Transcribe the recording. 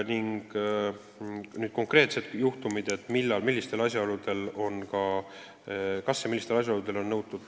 Nüüd konkreetsed juhtumid, millistel asjaoludel ei olda õigusnõustamisega rahul.